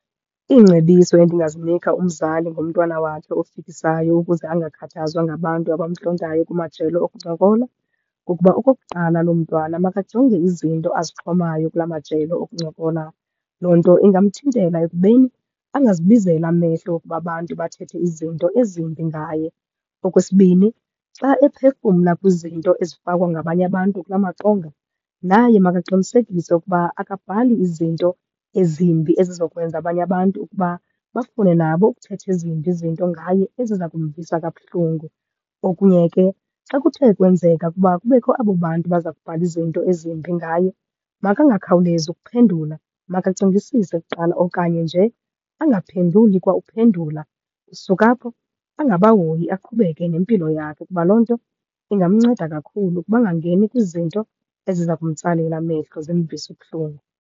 Iingcebiso endingazinika umzali ngomntwana wakhe ofikisayo ukuze angakhathazwa ngabantu abamntlontayo kumajelo okuncokola kukuba okokuqala, loo mntwana makajonge izinto azixhomayo kula majelo okuncokola. Loo nto ingamthintela ekubeni angazibizeli amehlo wokuba abantu bathethe izinto ezimbi ngaye. Okwesibini xa ephefumla kwizinto ezifakwe ngabanye abantu kula maqonga, naye makaqinisekise ukuba akabhali izinto ezimbi, ezizokwenza abanye abantu ukuba bafune nabo ukuthetha ezimbi izinto ngaye eziza kumvisa kabuhlungu. Okunye ke xa kuthe kwenzeka ukuba kubekho abo bantu baza kubhala izinto ezimbi ngaye makangakhawulezi ukuphendula, makacingisise kuqala okanye nje angaphenduli kwa ukuphendula. Suka apho angabahoyi, aqhubeke nempilo yakhe kuba loo nto ingamnceda kakhulu ukuba angangeni kwizinto eziza kumtsalela amehlo zimvise ubuhlungu.